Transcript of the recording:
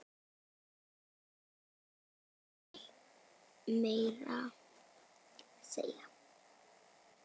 Mjög vel, meira að segja.